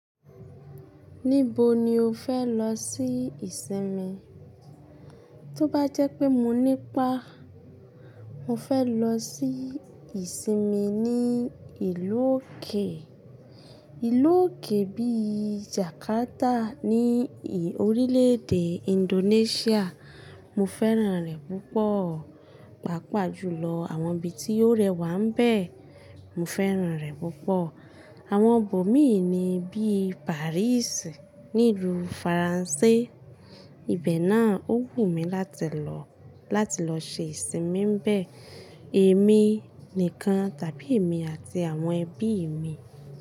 Níbo ni o fẹ́ lọ sí ìsinmi? Tó bá jẹ́ pé mo ní ipá, mo fẹ́ lọ sí ìsinmi ní ìlú òkè. Ìlú òkè bí i Jakarta ní orílẹ̀ èdè Indonesia, mo fẹ́ràn rẹ̀ púpọ̀, pàápàá jùlọ àwọn ibi tí ó rẹwà ń bẹ, mo fẹ́ràn rẹ̀ púpọ̀. Àwọn ibo mìíràn bí i Paris ní ìlú Faransé, ibẹ̀ náà ó wù mí láti lọ, láti lọ ṣe ìsinmi ń bẹ, èmi nìkan tàbí èmi àti àwọn ẹbí mi.